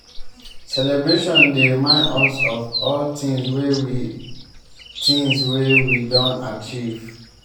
celebration dey remind us of all tins wey we tins wey we don achieve.